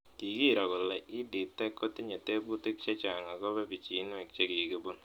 Kikiro kole EdTech kotinye teputik chechang'akopo pichinwek che kikipun